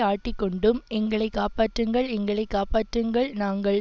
ஆட்டிக்கொண்டும் எங்களை காப்பாற்றுங்கள் எங்களை காப்பாற்றுங்கள் நாங்கள்